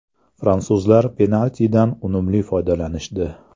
Fransuzlar penaltidan unumli foydalanishdi.